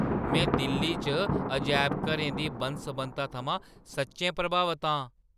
मैं दिल्ली च अजैबघरें दी बन्न-सबन्नता थमां सच्चैं प्रभावत आं।